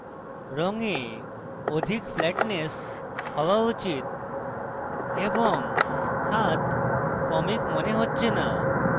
রঙে অধিক flatness হওয়া উচিত এবং হাত comic মনে হচ্ছে না